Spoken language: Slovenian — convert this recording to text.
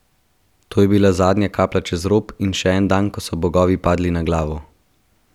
To je bila zadnja kaplja čez rob in še en dan, ko so bogovi padli na glavo!